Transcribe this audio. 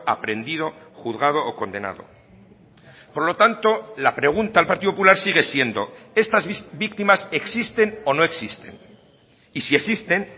aprehendido juzgado o condenado por lo tanto la pregunta al partido popular sigue siendo estas víctimas existen o no existen y si existen